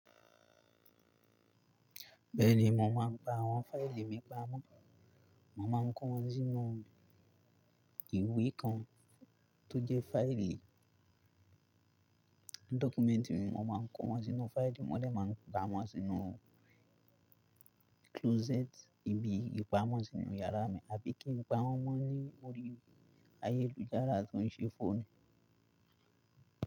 Bẹ́ẹ̀ni, mò ḿáa pa àwọn fáìlì mi pamọ́. Màá máa kó wọn sínú ìwé kan tó jẹ́ fáìlì dọ́kúmẹ́ǹtì, mo máa kó wọn sínú fáìlì, mo dẹ máa pá wọn sínú closet ibi ìpamọ́ sínú yàrá mi àbí kí n pa wọ́n mọ́ ní orí ayélujára tó ń ṣe fóònù.